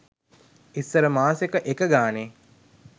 ඉස්සර මාසෙක එක ගානේ